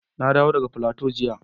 Na dawo daga Plateau jiya